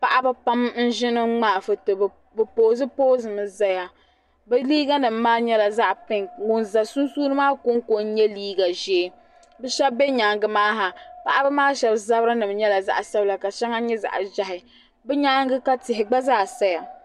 paɣaba pam n ʒini ŋmaai foto bi poosi poosi mi ʒɛya bi liiga nim maa nyɛla zaɣ pink ŋun ʒɛ sunsuuni maa konko n nyɛ liiga ʒiɛ bi shab n bɛ nyaangi maa ha paɣaba maa shab zabiri nim nyɛla zaɣ sabila ka shɛŋa nyɛ zaɣ ʒiɛhi bi nyaanga ka tihi gba zaa saya